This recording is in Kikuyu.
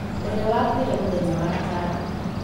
ũrĩa wakuire mũthenya wa gatano